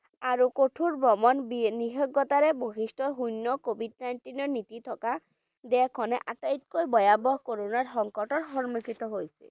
আৰু কঠোৰ ভ্ৰমণ নিষিদ্ধতাৰে বিশিষ্ট শূণ্য covid nineteen ৰ নীতি থকা দেশখনে আটাইতকৈ ভয়াৱহ corona ৰ সংকটৰ সন্মুখিত হৈছিল।